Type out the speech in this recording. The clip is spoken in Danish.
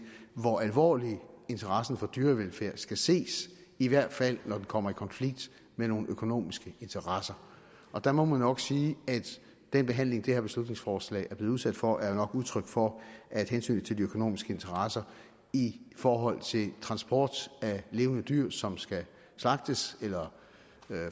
hvor alvorligt interessen for dyrevelfærd skal ses i hvert fald når den kommer i konflikt med nogle økonomiske interesser der må man nok sige at den behandling det her beslutningsforslag er blevet udsat for er udtryk for at hensynet til de økonomiske interesser i forhold til transport af levende dyr som skal slagtes eller